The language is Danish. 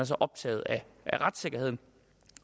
så optaget af retssikkerheden